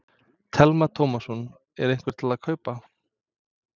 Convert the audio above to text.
Telma Tómasson: Er einhver til að kaupa?